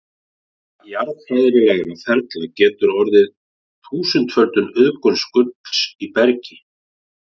Vegna jarðfræðilegra ferla getur orðið þúsundföld auðgun gulls í bergi.